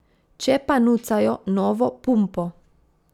Če pa nucajo novo pumpo.